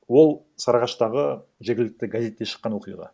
ол сарыағаштағы жергілікті газетте шыққан оқиға